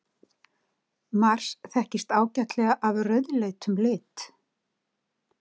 Mars þekkist ágætlega af rauðleitum lit.